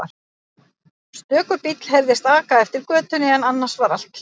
Stöku bíll heyrðist aka eftir götunni en annars var allt hljótt.